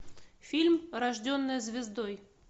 фильм рожденная звездой